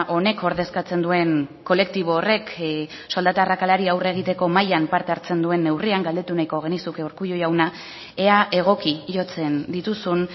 honek ordezkatzen duen kolektibo horrek soldata arrakalari aurre egiteko mahaian parte hartzen duen neurrian galdetu nahiko genizuke urkullu jauna ea egoki jotzen dituzun